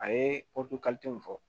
A ye fɔ